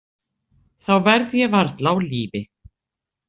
Þá verð ég varla á lífi.